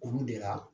Olu de la